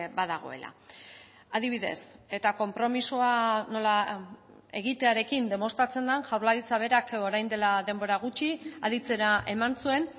badagoela adibidez eta konpromisoa nola egitearekin demostratzen den jaurlaritza berak orain dela denbora gutxi aditzera eman zuen